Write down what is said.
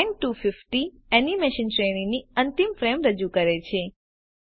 and 250 animation શ્રેણીની અંતની frame રજૂ કરે છે